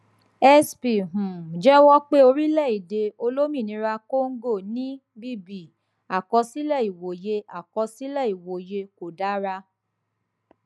sp um jẹwọ pé orílẹèdè olómìnira congo ní bb àkọsílẹ ìwòye àkọsílẹ ìwòye kò dára